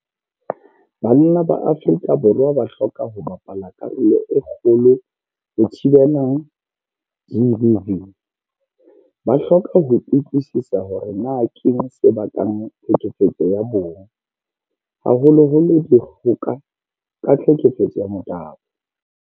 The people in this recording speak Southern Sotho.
Banna ba Afrika Borwa ba hloka ho bapala karolo e kgolo ho thibela GBV. Ba hloka ho utlwisisa hore na keng se bakang tlhekefetso ya bong, haholoholo dikgoka ka tlhekefetso ya motabo.